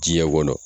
Diɲɛ kɔnɔ